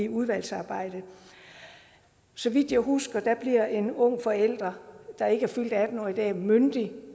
udvalgsarbejdet så vidt jeg husker bliver en ung forælder der ikke er fyldt atten år i dag myndig